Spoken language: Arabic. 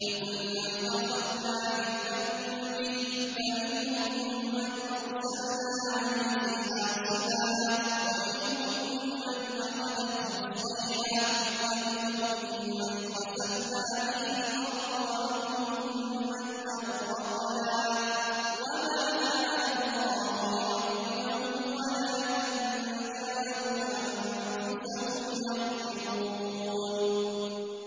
فَكُلًّا أَخَذْنَا بِذَنبِهِ ۖ فَمِنْهُم مَّنْ أَرْسَلْنَا عَلَيْهِ حَاصِبًا وَمِنْهُم مَّنْ أَخَذَتْهُ الصَّيْحَةُ وَمِنْهُم مَّنْ خَسَفْنَا بِهِ الْأَرْضَ وَمِنْهُم مَّنْ أَغْرَقْنَا ۚ وَمَا كَانَ اللَّهُ لِيَظْلِمَهُمْ وَلَٰكِن كَانُوا أَنفُسَهُمْ يَظْلِمُونَ